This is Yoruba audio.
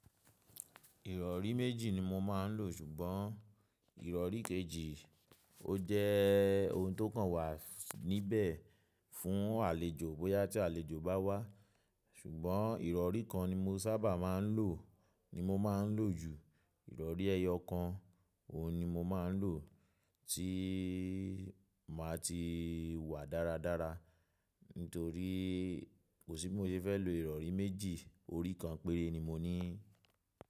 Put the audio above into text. Ìrọ̀rí méjì ni mo máà ń lò, ṣùgbọ́n ìrọ̀rí kejì ó jẹ́ ohun tó kàn wà níbẹ̀ fún àlejò bóyá tí àlejò bá wá, ṣùgbọ́n ìrọ̀rí kan ni mo sábà máa ń lò ni mo máa ń lò jù. Ìrọ̀rí ẹyọ kan, òun ni mo máa ń lò tí màá ti wà dáradára, nítorí kò sí bi mo se fẹ́ lọ ìrọ̀rí méjì, orí kan péré ni mo ní.